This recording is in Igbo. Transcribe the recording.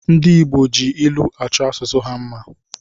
Ndi Igbo ji ilụ achọ asụsụ ha mma